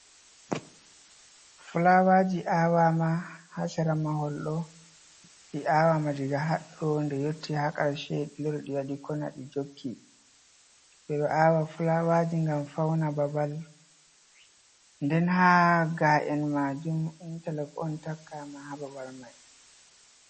Fulawaji awama ha sera mahol ɗo. Ɗi awama daga haɗɗo ɗe yotti ha karshe. Ɗi lori ɗi waɗi kona ɗi jokki. Beɗo awa fulawaji gam fauna babal. Ɗen ha ga’en majum intalokon takkama ha babal mai.